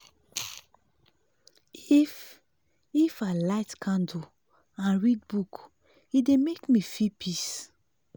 if if i light candle and read book e dey make me feel peace.